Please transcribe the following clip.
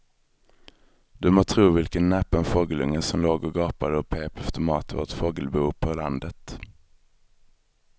Du må tro vilken näpen fågelunge som låg och gapade och pep efter mat i vårt fågelbo på landet.